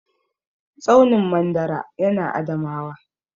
Tsaunin mandara ya na Adamawa